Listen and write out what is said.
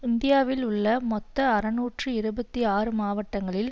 இந்தியாவில் உள்ள மொத்தம் அறுநூற்று இருபத்தி ஆறு மாவட்டங்களில்